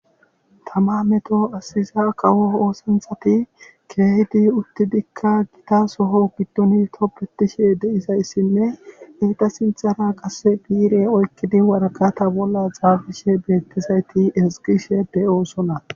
Tama meto asiza qawo oosanthati keehdi utti dikka gita soho giddoni toppetishe deisayssinne eeta sinthara qase biire oykkidi warakata bolla xaafishe beettizayti esgishe beyoosona.